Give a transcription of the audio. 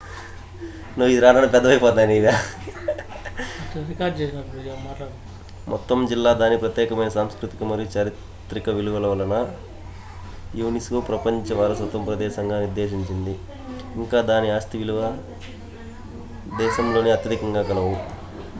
మొత్తం జిల్లా దాని ప్రత్యేకమైన సాంస్కృతిక మరియు చారిత్రక విలువ వలన unesco ప్రపంచ వారసత్వ ప్రదేశంగా నిర్దేశించబడింది ఇంకా దాని ఆస్తి విలువలు దేశంలోనే అత్యధికంగా కలవు